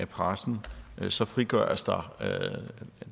pressen så frigøres der